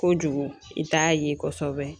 Kojugu i t'a ye kosɛbɛ